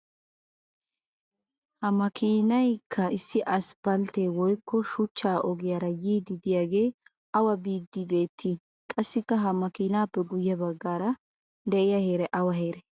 ha makiinaykka issi asphphaltte woykko shuchcha ogiyaara yiidi diyaagee awa biidi beettii? qassi ha makiinaappe guye bagaara diya heray awa heeree?